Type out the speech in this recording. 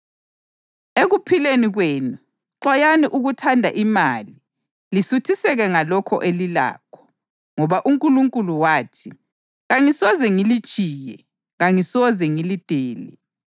Ekuphileni kwenu xwayani ukuthanda imali lisuthiseke ngalokho elilakho, ngoba uNkulunkulu wathi: “Kangisoze ngilitshiye; kangisoze ngilidele.” + 13.5 UDutheronomi 31.6